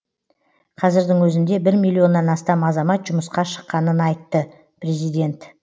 қазірдің өзінде бір миллионнан астам азамат жұмысқа шыққанын айтты президент